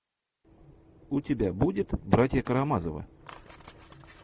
у тебя будет братья карамазовы